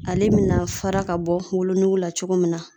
Ale bɛna fara ka bɔ wolo nugu la cogo min na.